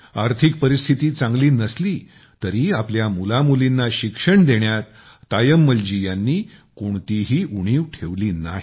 आर्थिक परिस्थिती चांगली नसली तरी आपल्या मुलामुलीना शिक्षण देण्यात तायम्मल जी यांनी कोणतीही उणीव ठेवली नाही